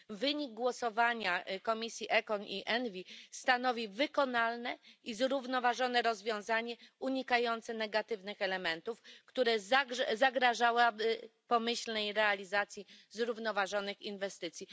Wynik głosowania komisji ECON i ENVI stanowi wykonalne i zrównoważone rozwiązanie, unikające negatywnych elementów, które zagrażałyby pomyślnej realizacji zrównoważonych inwestycji.